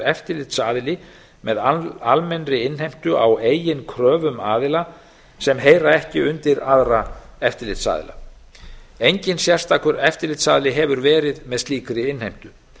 eftirlitsaðili með almennri innheimtu á eigin kröfum aðila sem heyra ekki undir aðra eftirlitsaðila enginn sérstakur eftirlitsaðili hefur verið með slíkri innheimtu